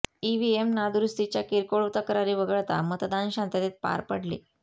EVM नादुरुस्तीच्या किरकोळ तक्रारी वगळता मतदान शांततेत पार पडले